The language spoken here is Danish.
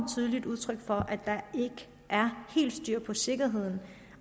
tydeligt udtryk for at der helt er styr på sikkerheden